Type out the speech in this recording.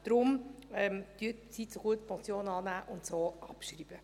Daher: Nehmen Sie diese Motion bitte an und schreiben Sie sie auch ab.